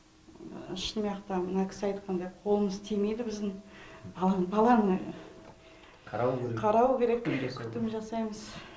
шынаяқта мына кісі айтқанда қолымыз тимейді біздің ал баланы қарау керек қарау керек күтім жасаймыз